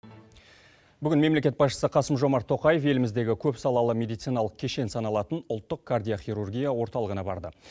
бүгін мемлекет басшысы қасым жомарт тоқаев еліміздегі көпсалалы медициналық кешен саналатын ұлттық кардио хирургия орталығына барды